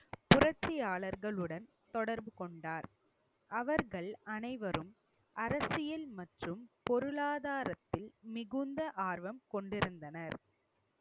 புரட்சியாளர்களுடன் தொடர்பு கொண்டார். அவர்கள் அனைவரும் அரசியல் மற்றும் பொருளாதாரத்தில் மிகுந்த ஆர்வம் கொண்டிருந்தனர்